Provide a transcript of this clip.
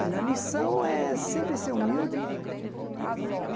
Olha, a lição é sempre ser humilde.